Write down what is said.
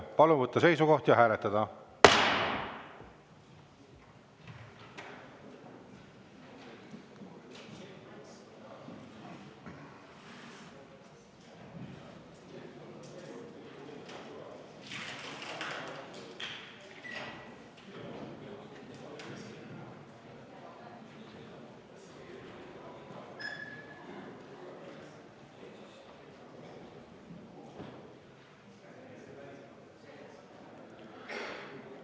Palun võtta seisukoht ja hääletada!